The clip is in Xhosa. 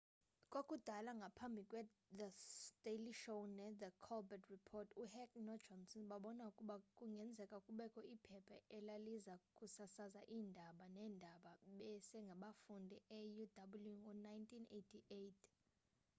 kwakudala ngaphambi kwethe daily show nethe colbert report uheck nojohnson babona ukuba kungenzeka kubekho iphepha elaliza kusasaza iindaba-neendaba-besengabafundi euw ngo-1988